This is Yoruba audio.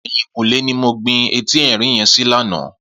Eyinkúnlé ni mó gbin éti èrín yèn si làná